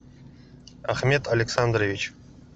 ахмед александрович